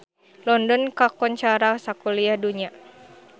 London kakoncara sakuliah dunya